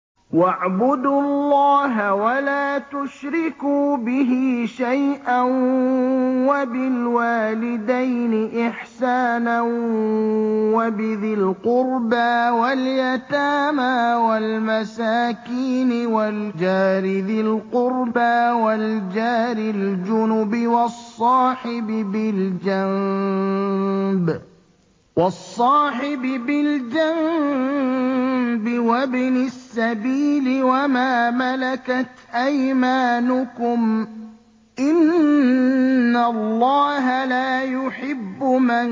۞ وَاعْبُدُوا اللَّهَ وَلَا تُشْرِكُوا بِهِ شَيْئًا ۖ وَبِالْوَالِدَيْنِ إِحْسَانًا وَبِذِي الْقُرْبَىٰ وَالْيَتَامَىٰ وَالْمَسَاكِينِ وَالْجَارِ ذِي الْقُرْبَىٰ وَالْجَارِ الْجُنُبِ وَالصَّاحِبِ بِالْجَنبِ وَابْنِ السَّبِيلِ وَمَا مَلَكَتْ أَيْمَانُكُمْ ۗ إِنَّ اللَّهَ لَا يُحِبُّ مَن